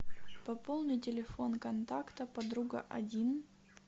пополни телефон контакта подруга один